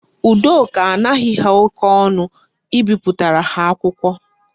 Udoka anaghi ha oke onu ibipụtara ha akwụkwọ